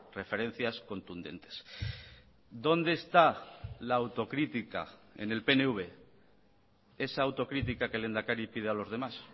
referencias contundentes dónde está la autocrítica en el pnv esa autocritica que el lehendakari pide a los demás